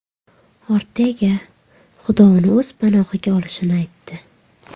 Ortega Xudo uni o‘z panohiga olishini aytdi.